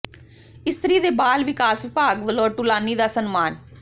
ਇਸਤਰੀ ਤੇ ਬਾਲ ਵਿਕਾਸ ਵਿਭਾਗ ਵੱਲੋਂ ਟੂਲਾਨੀ ਦਾ ਸਨਮਾਨ